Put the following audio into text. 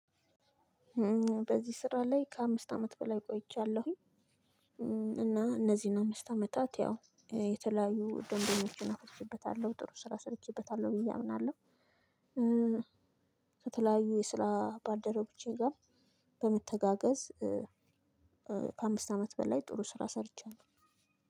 በዚህ ስራ ላይ ከአምስት አመት በላይ ቆይቻለሁኝ እና እነዚህን አምስት አመታት ያው የተለያዩ ደንበኞችን አትርፈበታለሁ ጥሩ ስራ ሰርቼበታለሁ ብዬ አምናለሁ። ከተለያዩ የስራ ባልደርቦቼ ጋር በመተጋገዝ ከአምስት አመት በላይ ጥሩ ስራ ሰርቻለሁ።